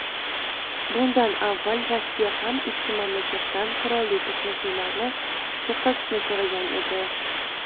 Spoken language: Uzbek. Bundan avval Rossiya ham ikki mamlakatdan qurolli to‘qnashuvlarni to‘xtatishni so‘ragan edi.